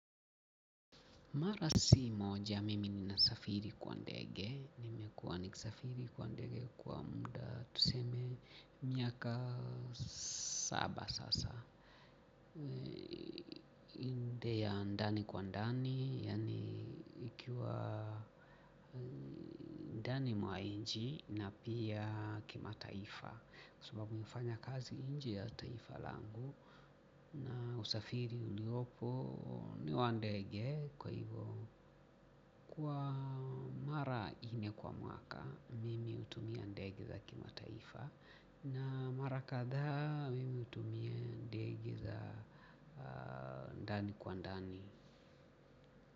Mara si moja mimi nimesafiri kwa ndege. Nimekuwa nikisafiri kwa ndege kwa muda tuseme miaka saba sasa. Inde ya ndani kwa ndani, yaani ikiwa ndani mwa inji na pia kima taifa. Kwa sababu hufanya kazi nje ya taifa langu. Na usafiri uliopo niwandege kwa hivo kwa mara nne kwa mwaka mimi utumia ndege za kima taifa. Na mara katha mimi utumia ndege za ndani kwa ndani.